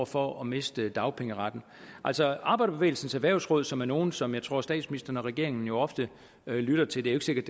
for at miste dagpengeretten altså arbejderbevægelsens erhvervsråd som er nogle som jeg tror statsministeren og regeringen jo ofte lytter til det er ikke sikkert